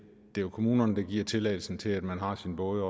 jo kommunerne der giver tilladelsen til at man har sin båd